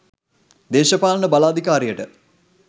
දේශපාලන බල අධිකාරියට